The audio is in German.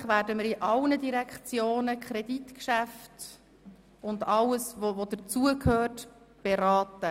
Selbstverständlich werden wir in allen Direktionen die Kreditgeschäfte und alles, was dazugehört beraten.